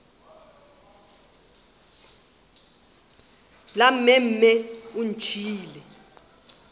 la mme mme o ntšhiile